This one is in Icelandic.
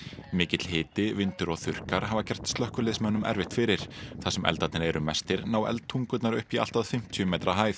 mikill hiti vindur og þurrkar hafa gert slökkviliðsmönnum erfitt fyrir þar sem eldarnir eru mestir ná upp í allt að fimmtíu metra hæð